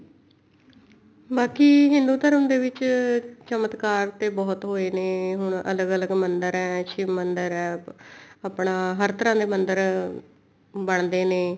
ਬਾਕੀ ਹਿੰਦੂ ਧਰਮ ਦੇ ਵਿੱਚ ਚਮਤਕਾਰ ਤੇ ਬਹੁਤ ਹੋਏ ਨੇ ਹੁਣ ਅਲੱਗ ਅਲੱਗ ਮੰਦਰ ਨੇ ਸ਼ਿਵ ਮੰਦਰ ਹੈ ਆਪਣਾ ਹਰ ਤਰ੍ਹਾਂ ਦੇ ਮੰਦਰ ਬਣਦੇ ਨੇ